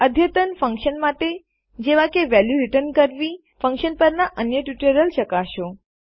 અદ્યતન ફન્કશન માટે જેવા કે વેલ્યુ રીટર્ન કરવી ફન્કશન પરના અન્ય ટ્યુટોરિયલ ચકાસો